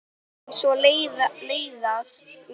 Og svo leiðast mér börn.